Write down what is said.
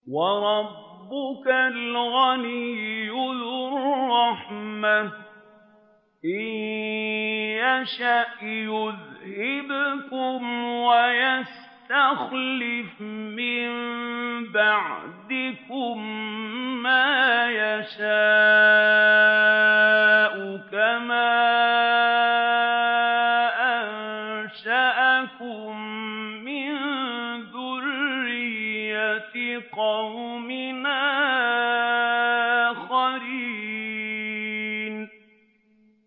وَرَبُّكَ الْغَنِيُّ ذُو الرَّحْمَةِ ۚ إِن يَشَأْ يُذْهِبْكُمْ وَيَسْتَخْلِفْ مِن بَعْدِكُم مَّا يَشَاءُ كَمَا أَنشَأَكُم مِّن ذُرِّيَّةِ قَوْمٍ آخَرِينَ